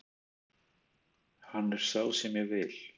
Hann er sá sem ég vil.